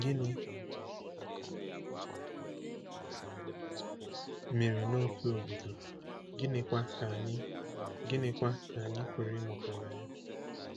Gịnị mere n’otu obodo, gịnịkwa ka anyị gịnịkwa ka anyị pụrụ ịmụta na ya?